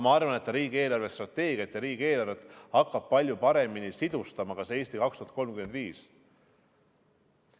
Ma arvan, et see "Eesti 2035" hakkab palju paremini siduma ka riigi eelarvestrateegiat ja riigieelarvet.